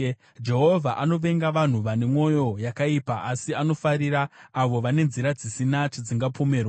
Jehovha anovenga vanhu vane mwoyo yakaipa, asi anofarira avo vane nzira dzisina chadzingapomerwa.